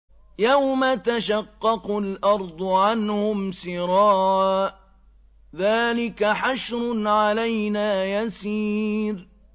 يَوْمَ تَشَقَّقُ الْأَرْضُ عَنْهُمْ سِرَاعًا ۚ ذَٰلِكَ حَشْرٌ عَلَيْنَا يَسِيرٌ